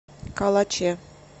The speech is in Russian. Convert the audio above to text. калаче